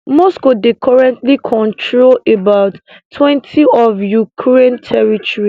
moscow dey currently control abouttwentyof ukraine territory